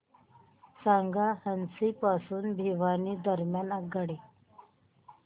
सांगा हान्सी पासून भिवानी दरम्यान आगगाडी